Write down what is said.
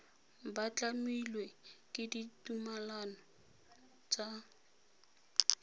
ba tlamilwe ke ditumalano tsa